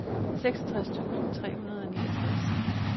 seksogtres tusind tre hundrede og niogtres